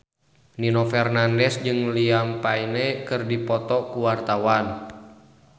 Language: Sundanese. Nino Fernandez jeung Liam Payne keur dipoto ku wartawan